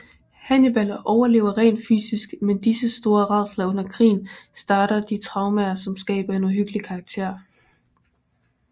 Hannibal overlever rent fysisk men disse store rædsler under krigen starter de traumer som skaber en uhyggelig karakter